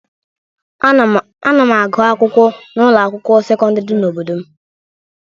Ana m agụ akwụkwọ n'ụlọ akwụkwọ sekọndịrị dị n'obodo m.